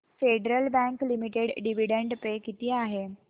federal Bank Limited dividend pay किती आहे